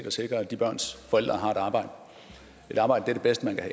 at sikre at de børns forældre har et arbejde et arbejde er det bedste man kan